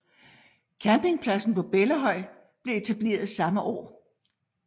Campingpladsen på Bellahøj blev etableret samme år